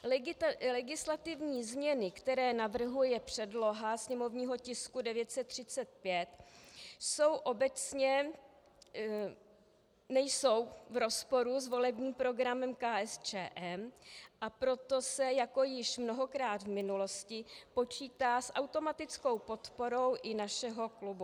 Legislativní změny, které navrhuje předloha sněmovního tisku 935, nejsou v rozporu s volebním programem KSČM, a proto se jako již mnohokrát v minulosti počítá s automatickou podporou i našeho klubu.